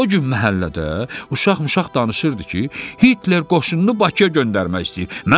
O gün məhəllədə uşaq-muşaq danışırdı ki, Hitler qoşununu Bakıya göndərmək istəyir.